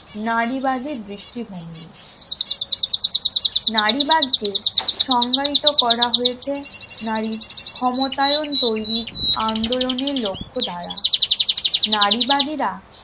নারীবাদী দৃষ্টিভঙ্গি নারীবাদ কে সঙ্গায়িত করা হয়েছে নারীর ক্ষমতায়ন তৈরির আন্দোলনের লক্ষ্যধারা নারীবাদীরা